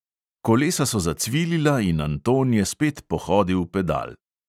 Kolesa so zacvilila in anton je spet pohodil pedal.